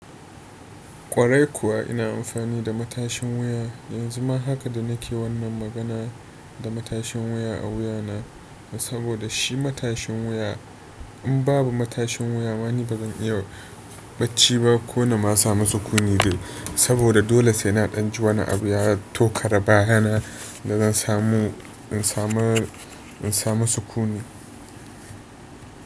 Kwarai kuwa ina amfani da matashin wuya yanzu ma haka da nake wannan magana da matashin wuya a wuya na saboda shi matashin wuya in babu matashin wuya ma ni bazan iya bacci ba ko na ma samu sukuni dai saboda dole sai na ɗan ji wani abu ya tokare baya na da zan samu in sama, in samu sukuni.